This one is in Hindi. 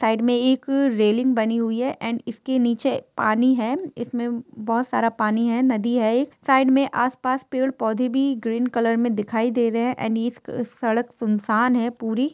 साईड मे एक रेलिंग बनी हुई हैएंड इसके निचे पानी है इसमे बहुत सारा पानी है नदी हैएक साईड मे आसपास पेड पोधे भी ग्रीन कलर मे दिखाई दे रहे हैएंड इस क सडक सुनसान है पूरी ।